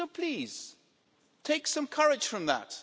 So please, take some courage from that.